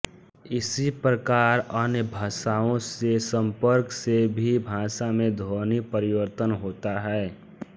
इसी प्रकार अन्य भाषाओं से संपर्क से भी भाषा में ध्वनि परिवर्तन होता है